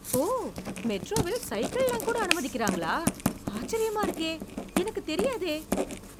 ஓ! மேட்ரோவில் சைக்கிள்லாம்கூட அனுமதிக்கிறாங்களா. ஆச்சரியமா இருக்கே. எனக்குத் தெரியாதே.